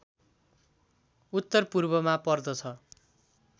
उत्तरपूर्वमा पर्दछ